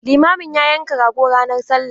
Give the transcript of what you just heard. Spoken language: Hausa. Limamin ya yanka rago ranar Sallah.